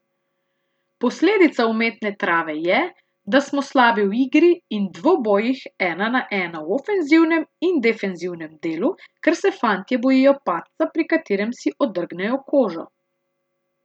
Posledica umetne trave je, da smo slabi v igri in dvobojih ena na ena v ofenzivnem in defenzivnem delu, ker se fantje bojijo padca, pri katerem si odrgnejo kožo.